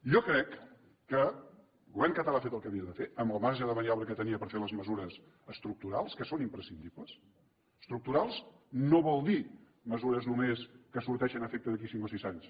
jo crec que el govern català ha fet el que havia de fer amb el marge de maniobra que tenia per fer les mesures estructurals que són imprescindibles estructurals no vol dir mesures només que tinguin efecte d’aquí a cinc o sis anys